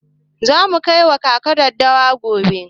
Za mu kai wa kaka daddawa gobe.